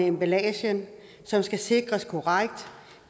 emballagen som skal sikre at